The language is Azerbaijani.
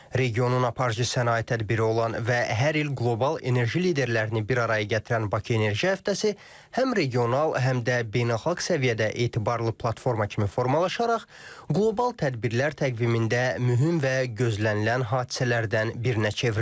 Regionun aparıcı sənaye tədbiri olan və hər il qlobal enerji liderlərini bir araya gətirən Bakı enerji həftəsi həm regional, həm də beynəlxalq səviyyədə etibarlı platforma kimi formalaşaraq qlobal tədbirlər təqvimində mühüm və gözlənilən hadisələrdən birinə çevrilib.